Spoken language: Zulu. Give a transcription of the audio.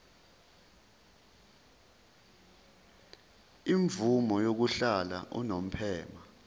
imvume yokuhlala unomphema